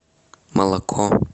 молоко